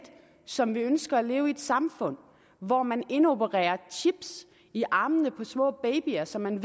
som vi ønsker at leve i et samfund hvor man indopererer chips i armene på små babyer så man